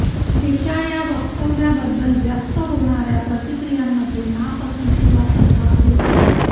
तिच्या या वक्तव्याबद्दल व्यक्त होणाऱ्या प्रतिक्रियांमध्ये नापसंती वा संताप दिसतो